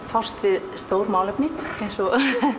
fást við stór málefni eins og